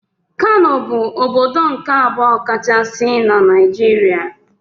Kano bụ ọbọdọ nke abụọ kachasị n' Naijiria.